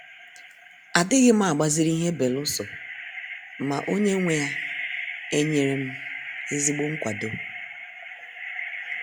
Adighim agbaziri ihe beluso ma onye nwe ya enyere m ezigbo nkwado.